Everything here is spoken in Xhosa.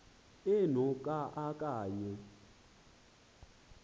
eno ka okanye